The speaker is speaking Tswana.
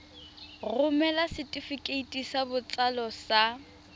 romela setefikeiti sa botsalo sa